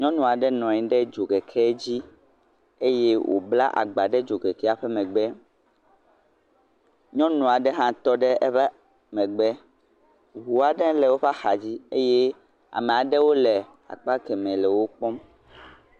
Nyɔnu aɖe nɔ anyi ɖe dzokeke dzi eye wòbla agba ɖe dzokekea ƒe megbe, nyɔnu aɖe hã tɔ ɖe eƒe megbe, ŋu aɖe le woƒe axa dzi eye ame aɖewo le akpa kemɛ le wo kpɔ.